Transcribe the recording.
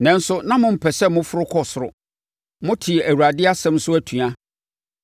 Nanso, na mompɛ sɛ moforo kɔ soro. Motee Awurade asɛm so atua.